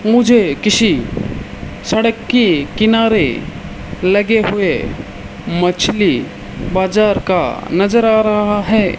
मुझे किसी सड़क की किनारे लगे हुए मछली बाजार का नजर आ रहा है।